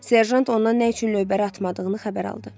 Serjant ondan nə üçün lövbəri atmadığını xəbər aldı.